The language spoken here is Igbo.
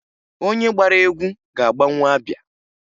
Onye gbara egwu ga-agbanwu abịa.